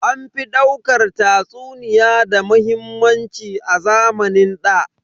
An fi daukar tatsuniya da muhimmanci a zamanin ɗa.